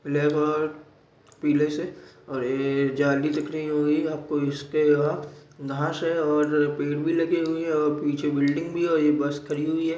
black और पिले से और ए झाली दिख रही होगी आपको इसके यहाँ घास है और पेड़ भी लगे हुए है ओर पीछे बिल्डिंग भी है और ये बस खड़ी--